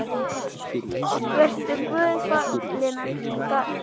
Vertu Guði falin elsku Gauja.